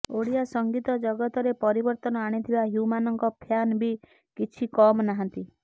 ଓଡ଼ିଆ ସଙ୍ଗୀତ ଜଗତରେ ପରିବର୍ତ୍ତନ ଆଣିଥିବା ହ୍ୟୁମାନଙ୍କ ଫ୍ୟାନ ବି କିଛି କମ୍ ନାହାନ୍ତି